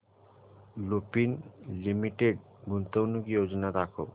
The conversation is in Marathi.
लुपिन लिमिटेड गुंतवणूक योजना दाखव